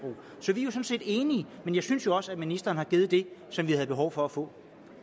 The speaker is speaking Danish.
set enige men jeg synes også at ministeren har givet det som vi havde behov for at få